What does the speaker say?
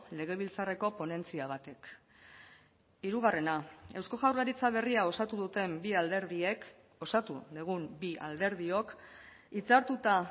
legebiltzarreko ponentzia batek hirugarrena eusko jaurlaritza berria osatu duten bi alderdiek osatu dugun bi alderdiok hitzartuta